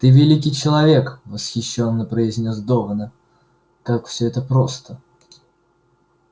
ты великий человек восхищённо произнёс донован как всё это просто